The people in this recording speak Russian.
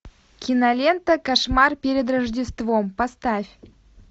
кинолента кошмар перед рождеством поставь